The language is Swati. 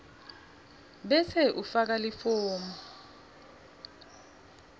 bese ufaka lifomu